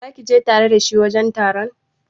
Zaki je tare da shi wajen taron?